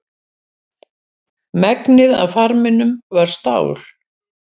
Megnið af farminum var stál.